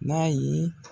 N'a ye